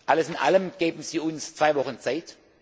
Alles in allem geben Sie uns bitte zwei Wochen Zeit.